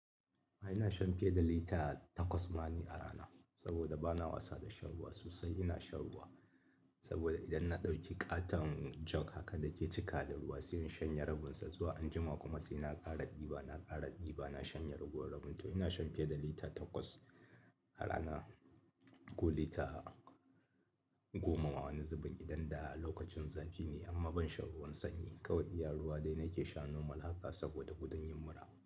Ai ina shan fiye da lita takwas ma ni a rana saboda ba na wasa da shan ruwa sosai. Ina shan ruwa saboda idan na ɗauki ƙaton jog haka da ke cika da ruwa sai in shanye rabinsa zuwa anjima kuma sai na ƙara ɗiba, na ƙara ɗiba na shanye ragowar rabin. To ina shan fiye da lita takwas a rana ko lita goma wani zubun idan da lokacin zafi ne amma ban shan ruwan sanyi, kawai iya ruwa dai nake sha normal haka saboda gudun yin mura.